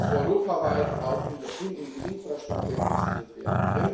Es muss europaweit auch in die Infrastruktur investiert werden.